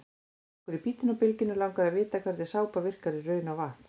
Okkur í Bítinu á Bylgjunni langar að vita hvernig sápa virkar í raun á vatn?